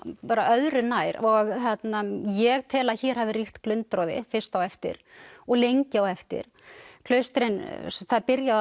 bara öðru nær ég tel að hér hafi ríkt glundroði fyrst á eftir og lengi á eftir það er byrjað á